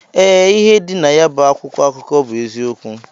Ee, ịhe dị nayabu akwụkwọ akụkọ bụ eziokwu.